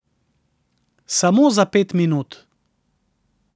Samo za pet minut.